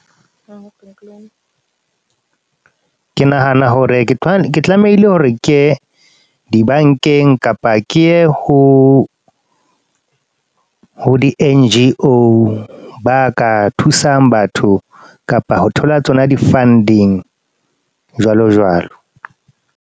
Ke nahana hore ke tlamehile hore ke di-bank-eng. Kapa ke ye ho, ho di-N_G_O, ba ka thusang batho. Kapa ho thola tsona di-funding, jwalo jwalo.